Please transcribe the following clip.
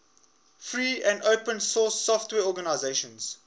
free and open source software organizations